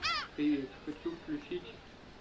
привет хочу включить